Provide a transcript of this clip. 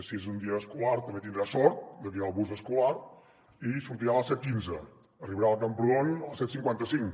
si és un dia escolar també tindrà sort de que hi ha el bus escolar i sortirà a les set cents i quinze arribarà a camprodon a les set cents i cinquanta cinc